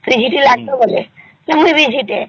ଝିଟି ଆସିବା ମତେ ମୁଇ ବି ଝିଟିଏ